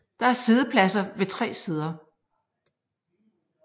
Der er siddepladser ved tre sider